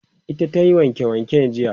ita tayi wanke wanke jiya